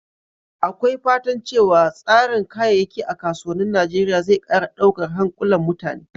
Akwai fatan cewa tsarin kayayyaki a kasuwannin Najeriya zai ƙara daukar hankulan mutane.